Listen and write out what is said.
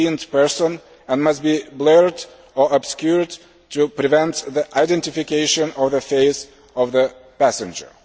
person and must be blurred or obscured to prevent the identification of the face of the passenger.